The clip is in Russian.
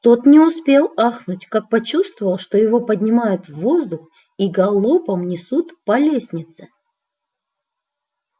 тот не успел ахнуть как почувствовал что его поднимают в воздух и галопом несут по лестнице